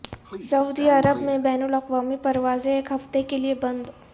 سعودی عرب میں بین الاقوامی پروازیں ایک ہفتے کے لیے بند